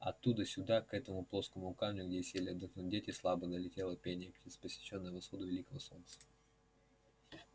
оттуда сюда к этому плоскому камню где сели отдохнуть дети слабо долетело пение птиц посвящённое восходу великого солнца